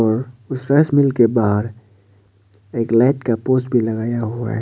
Rice mill के बाहर एक लाइट का पोस भी लगाया हुआ है।